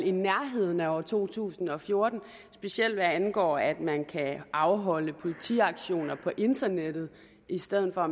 i nærheden af år to tusind og fjorten specielt hvad angår at man kan afholde politiauktioner på internettet i stedet for at